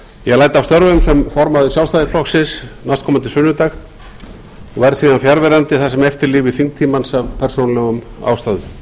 ég læt af störfum sem formaður sjálfstæðisflokksins næstkomandi sunnudag og verð síðan fjarverandi það sem eftir lifir þingtímans af persónulegum ástæðum